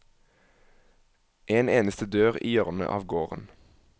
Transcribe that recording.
En eneste dør i hjørnet av gården.